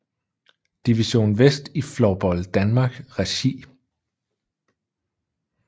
Division vest i Floorball Danmark regi